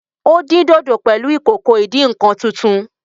Ó dín dòdò pẹ̀lú ìkòkò ìdí -nǹkan tuntun